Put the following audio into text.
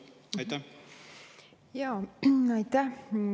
Aitäh!